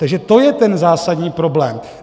Takže to je ten zásadní problém.